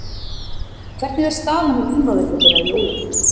Hvernig er staðan á heimavelli þeirra í Ólafsvík?